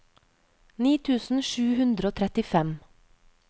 ni tusen sju hundre og trettifem